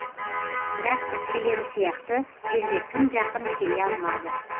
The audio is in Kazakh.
бірақ әпкелері сияқты жерге тым жақын келе алмады